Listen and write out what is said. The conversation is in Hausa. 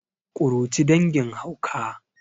kuruci dangin hauka